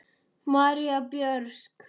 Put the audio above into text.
Marín Björk.